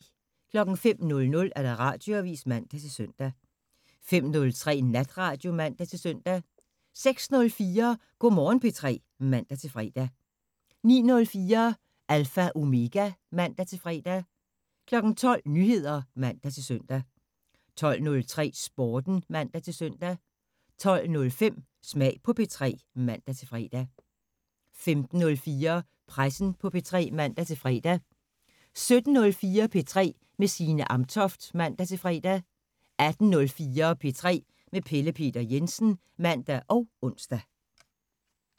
05:00: Radioavisen (man-søn) 05:03: Natradio (man-søn) 06:04: Go' Morgen P3 (man-fre) 09:04: Alpha Omega (man-fre) 12:00: Nyheder (man-søn) 12:03: Sporten (man-søn) 12:05: Smag på P3 (man-fre) 15:04: Pressen på P3 (man-fre) 17:04: P3 med Signe Amtoft (man-fre) 18:04: P3 med Pelle Peter Jensen (man og ons)